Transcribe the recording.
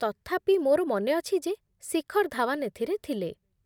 ତଥାପି ମୋର ମନେ ଅଛି ଯେ ଶିଖର ଧାୱନ ଏଥିରେ ଥିଲେ।